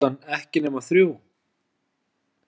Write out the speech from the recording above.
Og klukkan ekki nema þrjú.